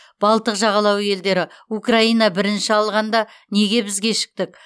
балтық жағалауы елдері украина бірінші алғанда неге біз кешіктік